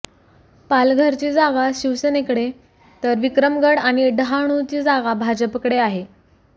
पालघरची जागा शिवसेनेकडे तर विक्रमगड आणि डहाणूची जागा भाजपाकडे आहे